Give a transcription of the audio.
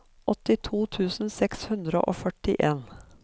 åttito tusen seks hundre og førtien